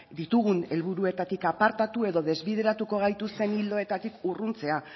ditugun helburuetatik apartatu edo desbideratuko gaituzten ildoetatik urruntzea